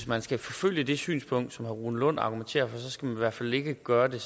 man skal forfølge det synspunkt som herre rune lund argumenterer for så skal i hvert fald ikke gøre det